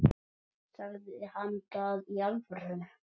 Sagði hann það í alvöru?